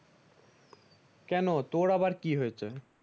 কেন তোর আবার কি হয়েছে ।